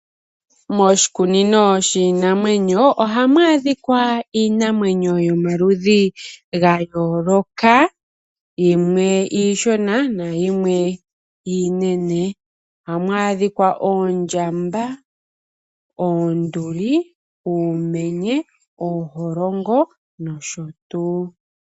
Moshikunino shiinamwenyo ohamu adhika omaludhi giinamwenyo yayooloka yimwe iishona nayimwe iinene. Ohamu adhika oondjamba, oonduli, uumenye, ooholongo nosho tuu.